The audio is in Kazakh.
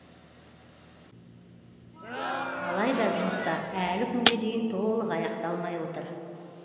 алайда жұмыстар әлі күнге дейін толық аяқталмай отыр